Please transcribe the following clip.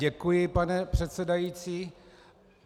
Děkuji, pane předsedající.